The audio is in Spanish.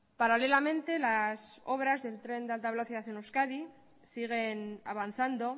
paralelamente las obras del tren de alta velocidad en euskadi siguen avanzando